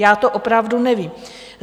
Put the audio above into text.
Já to opravdu nevím.